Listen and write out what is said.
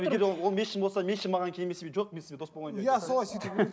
егер ол ол мешін болса мешін маған келмесе жоқ мен сізбен дос болмаймын